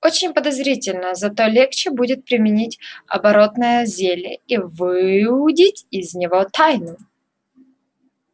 очень подозрительно зато легче будет применить оборотное зелье и выудить из него тайну